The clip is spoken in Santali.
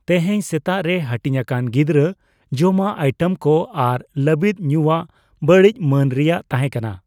ᱛᱮᱦᱮᱧ ᱥᱮᱛᱟᱜ ᱨᱮ ᱦᱟᱹᱴᱤᱧᱟᱠᱟᱱ ᱜᱤᱫᱽᱨᱟᱹ ᱡᱚᱢᱟᱜ ᱟᱭᱴᱮᱢ ᱠᱚ ᱟᱨ ᱞᱟᱹᱵᱤᱫ ᱧᱩᱭᱟᱜ ᱵᱟᱹᱲᱤᱡ ᱢᱟᱹᱱ ᱨᱮᱭᱟᱜ ᱛᱟᱦᱮᱸᱠᱟᱱᱟ ᱾